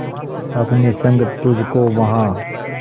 अपने संग तुझको वहां